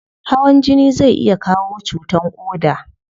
Hawan jini zai iya kawo cutan koda